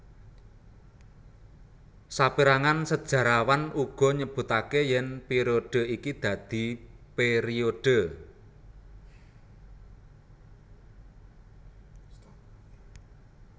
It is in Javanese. Saperangan sejarawan uga nyebutake yen periode iki dadi periode